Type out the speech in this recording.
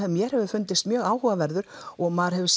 mér hefur fundist mjög áhugaverður og maður hefur